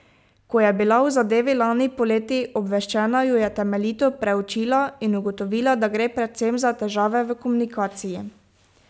Ko je bila o zadevi lani poleti obveščena, jo je temeljito preučila in ugotovila, da gre predvsem za težave v komunikaciji.